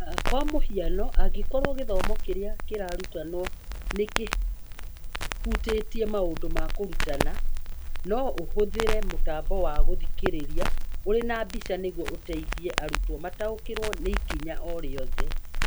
Kwa mũhiano, angĩkorũo gĩthomo kĩrĩa kĩrarutanwo nĩ kĩhutĩtie maũndũ ma kũrutana, no ũhũthĩre mũtambo wa gũthikĩrĩria ũrĩ na mbica nĩguo ũteithie arutwo mataũkĩrũo nĩ ikinya o rĩothe.